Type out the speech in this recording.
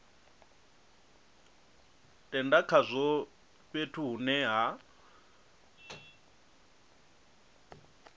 tenda khazwo fhethu hune ha